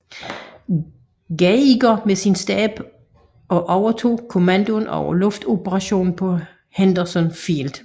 Geiger med sin stab og overtog kommandoen over luftoperationerne på Henderson Field